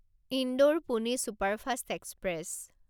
Indore Pune superfast express